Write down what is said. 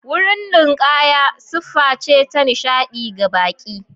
Wurin ninkaya siffa ce ta nishaɗi ga baƙi.